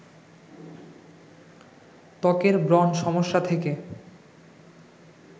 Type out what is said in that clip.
ত্বকের ব্রণ সমস্যা থেকে